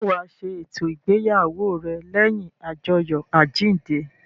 Ṣé wa ṣe eto ìgbéyàwó rẹ lẹ́yìn ajoyo àjíǹde?